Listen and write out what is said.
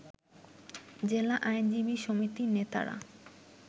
জেলা আইনজীবী সমিতির নেতারা